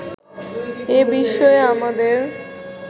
এ বিষয়ে আমাদের